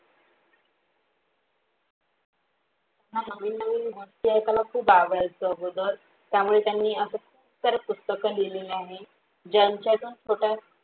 मला नवीन नवीन गोष्टी ऐकला खूप आवडतो अगोदर त्यामुळे त्यांनी असा कितिक्तर पुस्तक लिहलेले आहे ज्यांच्यातून छोट्या